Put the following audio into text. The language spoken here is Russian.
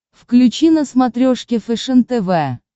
включи на смотрешке фэшен тв